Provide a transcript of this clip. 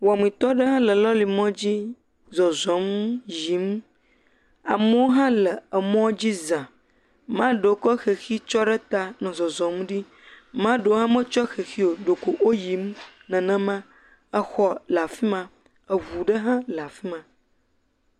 Wɔmitɔ aɖe le lɔli mɔdzi zɔzɔm, yiim. Amewo hã le emɔ̃dzi zãa. Maa ɖewo kɔ xexi tsyɔ ɖe taa nɔ zɔzɔm ɖi, maa ɖewo hã metsyɔ xexi o, ɖeko woyiim nenema. Ex le afi ma, eŋu ɖe hã le afi ma.